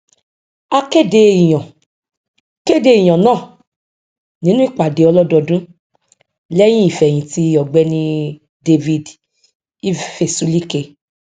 a kéde ìyàn kéde ìyàn náà nínú ìpàdé ọlọdọọdún lẹyìn ìfẹhìntì ọgbẹni david ifezulike